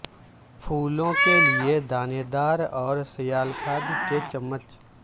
پھولوں کے لئے دانے دار اور سیال کھاد کے چمچ